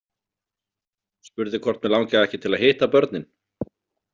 Spurði hvort mig langaði ekki til að hitta börnin.